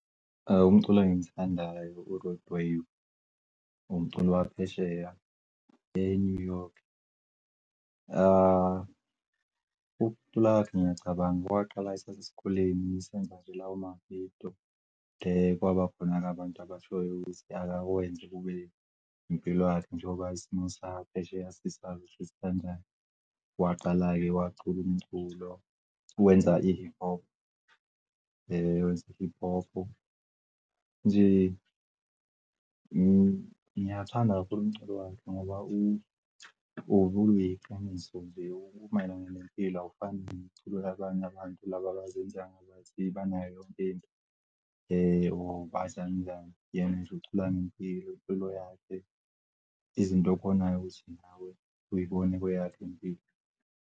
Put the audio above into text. Umculi engimuthandayo u-Roadway, umculi waphesheya e-New York. Ukucula kwakhe ngiyacabanga kwaqala esaseskoleni, lawo mavidiyo, kwabakhona-ke abantu abashoyo ukuthi akakwenze kube impilo yakhe nje ngokwazi isimo saphesheya sisazi ukuthi sikanjani. Waqala-ke wacula umculo, wenza i-hip hop. Wenza i-hip hop-u, nje ngiyawuthanda kakhulu umculo wakhe ngoba ubuneqiniso nje, umayelana nempilo. Awufani nomculo wabanye abantu laba abazenzayo engathi banayo yonke into, banjani njani. Yena ucula nje ngempilo yakhe izinto obonayo ukuthi nawe uy'bone kweyakho impilo.